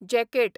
jacket